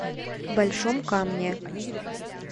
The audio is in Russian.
большом камне